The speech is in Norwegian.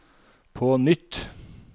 på nytt